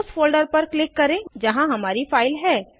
उस फोल्डर पर क्लिक करें जहाँ हमारी फाइल है